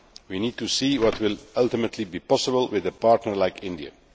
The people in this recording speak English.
We need to see what will ultimately be possible with a partner like India.